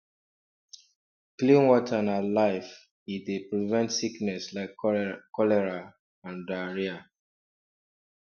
clean water na life e dey prevent sickness like cholera and diarrhea